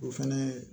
O fɛnɛ